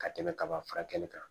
Ka tɛmɛ kaba furakɛli kan